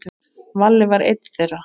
Valli var einn þeirra.